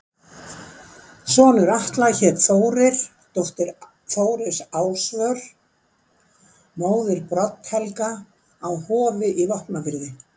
Sonur Atla hét Þórir, dóttir Þóris Ásvör, móðir Brodd-Helga á Hofi í Vopnafirði.